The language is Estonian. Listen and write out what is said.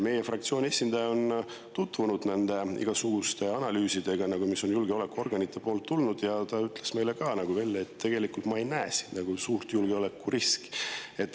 Meie fraktsiooni esindaja on tutvunud igasuguste analüüsidega, mis on julgeolekuorganite poolt tulnud, ja ta ütles meile, et ta ei näe nagu suurt julgeolekuriski.